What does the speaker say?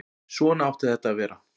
Svona átti þetta að vera.